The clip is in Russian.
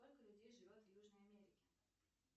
сколько людей живет в южной америке